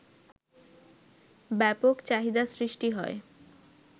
ব্যাপক চাহিদা সৃষ্টি হয়